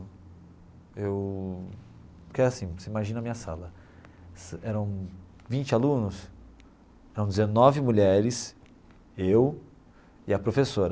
Eu porque assim, você imagina a minha sala, eram vinte alunos, eram dezenove mulheres, eu e a professora.